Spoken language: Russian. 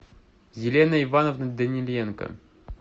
елена ивановна даниленко